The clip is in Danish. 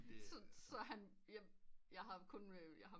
Sådan så han jeg har kun øh